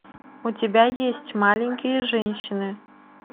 у тебя есть маленькие женщины